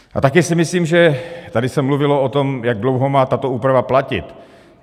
A také si myslím, že - tady se mluvilo o tom, jak dlouho má tato úprava platit.